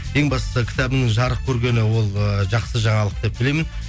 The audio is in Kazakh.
ең бастысы кітабымның жарық көргені ол ыыы жақсы жаңалық деп білемін